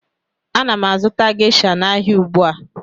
Ana m azụta Gesha n'ahịa ugbu a